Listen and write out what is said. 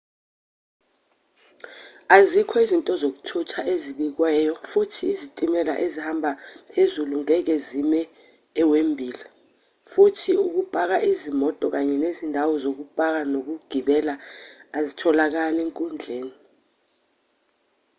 azikho izinto zokuthutha ezibekwayo futhi izitimela ezihamba phezulu ngeke zime ewembli futhi ukupaka izimoto kanye nezindawo zokupaka nokugibela azitholakali enkundleni